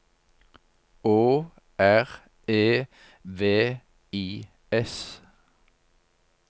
Å R E V I S